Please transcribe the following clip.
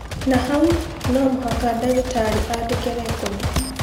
Na hau no mũhaka ndagĩtarĩ aandĩke rekondi